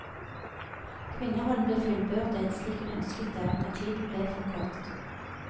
Kvinnerollen ble fullbyrdet slik hun ønsket det, men tiden ble for kort.